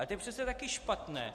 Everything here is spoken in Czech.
Ale to je přece taky špatné!